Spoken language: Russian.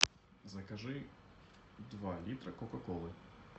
закажи два литра кока колы